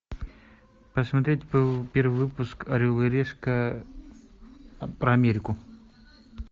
посмотреть первый выпуск орел и решка про америку